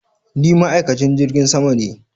Ni ma'aikacin jirgin sama ne.